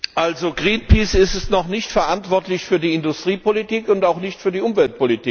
Greenpeace ist noch nicht verantwortlich für die Industriepolitik und auch nicht für die Umweltpolitik.